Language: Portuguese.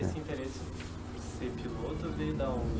Esse interesse por ser piloto veio da onde?